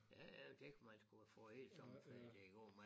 Ja ja det kan man sgu få hele sommerferien til at gå med